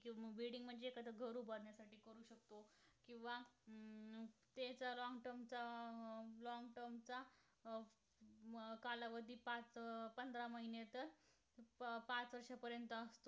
पाच वर्षापर्यंत असतो